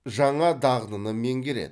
жаңа дағдыны меңгереді